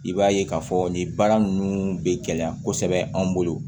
I b'a ye k'a fɔ nin baara ninnu bɛ gɛlɛya kosɛbɛ an bolo